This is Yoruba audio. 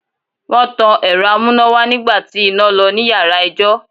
Wọ́n tan Ẹ̀rọ amúnáwá nígbà tí iná lọ ní yàrá ẹjọ́.